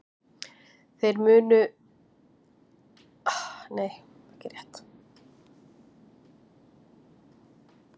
Þeim mun meira litarefni sem þar er, þeim mun dekkri er augnliturinn.